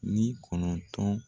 Ni kɔnɔntɔn.